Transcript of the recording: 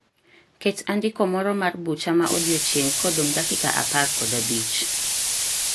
Ket andiko moro mar bucha ma odiechieng' kodong' dakika apar kod abich.